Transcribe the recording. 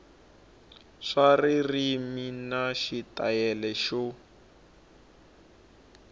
swa ririmi na xitayili xo